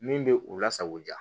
Min bɛ u lasago ja